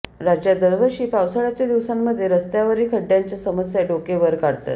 राज्यात दरवर्षी पावसाळ्याच्या दिवसांमध्ये रस्त्यांवरील खड्डयांच्या समस्या डोके वर काढतात